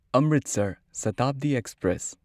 Amritsar Shatabdi express